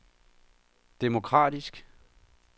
demokratisk